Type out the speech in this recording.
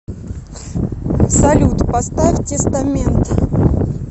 салют поставь тестамент